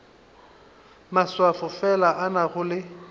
maswafo fela a nago le